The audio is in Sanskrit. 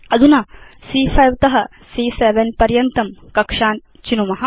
अधुना सी॰॰5 त सी॰॰7 पर्यन्तं कक्षान् चिनुम